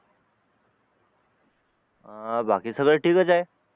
अं बाकी सगळ ठीकच आहे